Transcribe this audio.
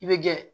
I bɛ gɛrɛ